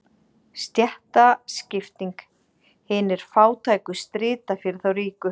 Stéttaskipting: Hinir fátæku strita fyrir þá ríku.